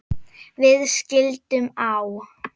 Við skildum á